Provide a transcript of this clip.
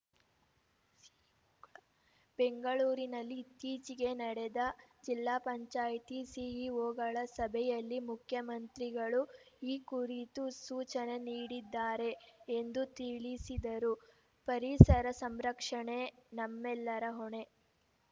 ಬೆಂಗಳೂರಿನಲ್ಲಿ ಇತ್ತೀಚೆಗೆ ನಡೆದ ಜಿಲ್ಲಾ ಪಂಚಾಯಿತಿ ಸಿಇಒಗಳ ಸಭೆಯಲ್ಲಿ ಮುಖ್ಯಮಂತ್ರಿಗಳು ಈ ಕುರಿತು ಸೂಚನೆ ನೀಡಿದ್ದಾರೆ ಎಂದು ತಿಳಿಸಿದರು ಪರಿಸರ ಸಂರಕ್ಷಣೆ ನಮ್ಮೆಲ್ಲರ ಹೊಣೆ